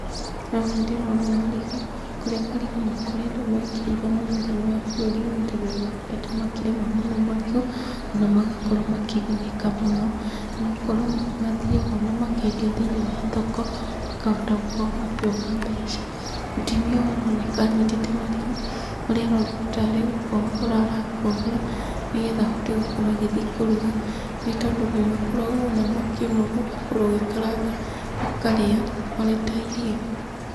Haha ndĩrona marigũ, kũrĩa marigũ makoretwo mekĩrĩirwo mũno thĩini wa bũrũri ũyũ witũ. Na nĩ makoretwo makĩrĩmwo mũno marigũ ona magakorwo makĩgunĩka mũno, nĩ gũkorwo ona nĩ mathiaga magakĩendia thĩinĩi wa thoko makahota gũkorwo makĩona mbeca. Mũtumia ũyũ aroneka anyitĩte marigũ marĩa aroneka tarĩ gũkohora arakohora. Nĩgetha ahote gũkorwo agĩthiĩ kũruga, nĩ tondũ nĩ makoragwo ona makĩinũrwo ũgakorwo ũgĩkaranga ũkarĩa marĩ ta irio.